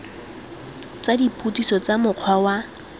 tsa dipotsiso tsa mokgwa wa